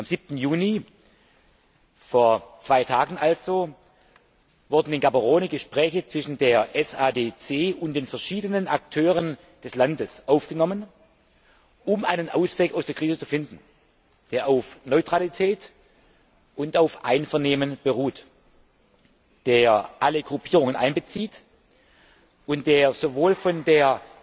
Am 7. Juni, vor zwei Tagen also, wurden in Gaberone Gespräche zwischen der SADC und den verschiedenen Akteuren des Landes aufgenommen, um einen Ausweg aus der Krise zu finden, der auf Neutralität und auf Einvernehmen beruht, der alle Gruppierungen einbezieht und der sowohl von der